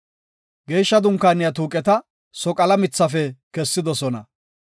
Geeshsha Dunkaaniya tuuqeta soqala mithafe kessidosona.